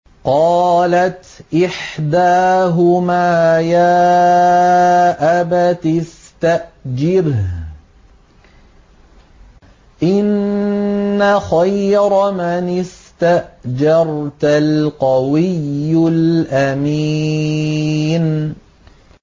قَالَتْ إِحْدَاهُمَا يَا أَبَتِ اسْتَأْجِرْهُ ۖ إِنَّ خَيْرَ مَنِ اسْتَأْجَرْتَ الْقَوِيُّ الْأَمِينُ